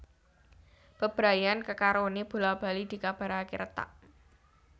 Bebrayan kekaroné bola bali dikabaraké retak